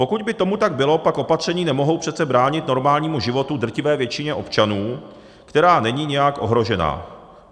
Pokud by tomu tak bylo, pak opatření nemohou přece bránit normálnímu životu drtivé většině občanů, která není nějak ohrožena.